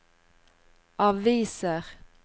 aviser